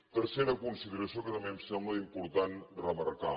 tercera consideració que també em sembla important remarcar